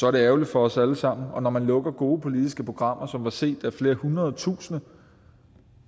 er det ærgerligt for os alle sammen og når man lukker gode politiske programmer som er set af flere hundrede tusinde